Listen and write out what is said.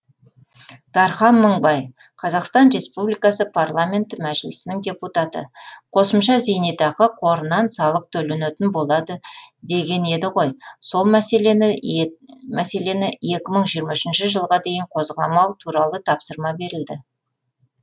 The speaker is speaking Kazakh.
дархан мыңбай қазақстан республикасы парламенті мәжілісінің депутаты қосымша зейнетақы қорынан салық төленетін болады деген еді ғой сол мәселені екі мың жиырма үшінші жылға дейін қозғамау туралы тапсырма берілді